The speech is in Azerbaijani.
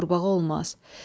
Beyində qurbağa olmaz.